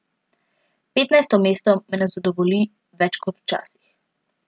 Petnajsto mesto me ne zadovolji več kot včasih.